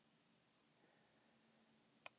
Spá úrkomu á brúðkaupsdaginn